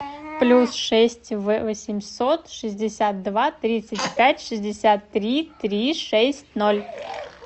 плюс шесть восемьсот шестьдесят два тридцать пять шестьдесят три три шесть ноль